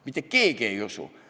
Mitte keegi ei usu.